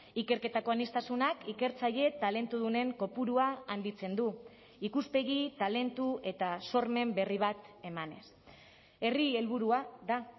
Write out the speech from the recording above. ikerketako aniztasunak ikertzaile talentudunen kopurua handitzen du ikuspegi talentu eta sormen berri bat emanez herri helburua da